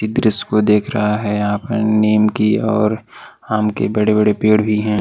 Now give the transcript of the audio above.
दृश्य को देख रहा है यहां पर नीम की और आम की बड़े-बड़े पेड़ भी हैं।